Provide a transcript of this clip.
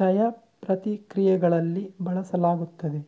ಚಯ ಪ್ರತಿಕ್ರಿಯೆಗಳಲ್ಲಿ ಬಳಸಲಾಗುತ್ತದೆ